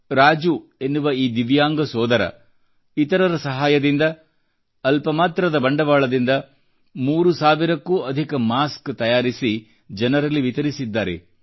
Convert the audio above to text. ರಾಜೂ ಎನ್ನುವ ಈ ದಿವ್ಯಾಂಗ ಸೋದರ ಇತರರ ಸಹಾಯದಿಂದ ಅಲ್ಪ ಮಾತ್ರದ ಬಂಡವಾಳದಿಂದ ಮೂರು ಸಾವಿರಕ್ಕೂ ಅಧಿಕ ಮಾಸ್ಕ್ ತಯಾರಿಸಿ ಜನರಲ್ಲಿ ವಿತರಿಸಿದ್ದಾರೆ